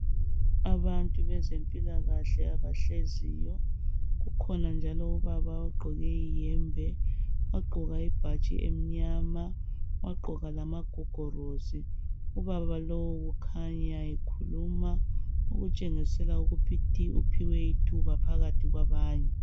Abantu bezempilakahle abahleziyo, kukhona njalo ubaba ogqoke ihembe wagqoka ibhatshi emnyama, wagqoka lamagogolosi. Ubaba lo ukhanya ekhuluma okutshengisela ukuthi uphiwe ithuba phakathi kwabanye.